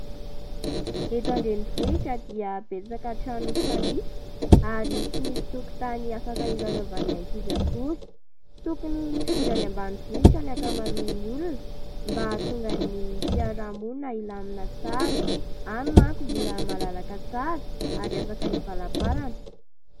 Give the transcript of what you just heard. Eto an-drenivohotra dia betsaka trano mifanisika, ary tsy misy tokotany afaka ilalaovan'ny ankizy akory. Tokony hifindra any ambanivohitra ny ankamaroan'ny olona mba ahatonga ny fiarahamonina ilamina tsara ; any manko mbola malalaka tsara, ary afaka ivalamparana.